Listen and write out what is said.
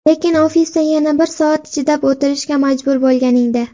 Lekin ofisda yana bir soat chidab o‘tirishga majbur bo‘lganingda”.